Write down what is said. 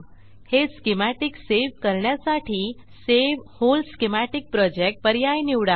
हे schematic save करण्यासाठी save whole schematic project पर्याय निवडा